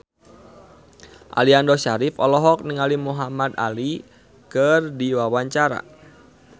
Aliando Syarif olohok ningali Muhamad Ali keur diwawancara